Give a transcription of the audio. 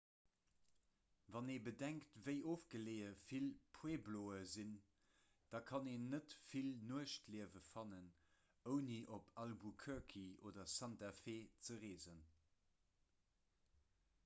wann ee bedenkt wéi ofgeleeë vill puebloe sinn da kann een net vill nuechtliewen fannen ouni op albuquerque oder santa fe ze reesen